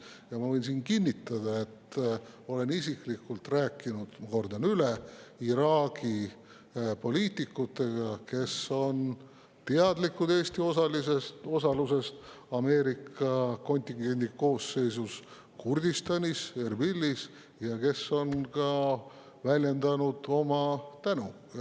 Ja ma võin kinnitada, üle korrata, et olen isiklikult rääkinud Iraagi poliitikutega, kes on teadlikud Eesti osalusest Ameerika kontingendi koosseisus Kurdistanis Erbilis ning on väljendanud ka oma tänu.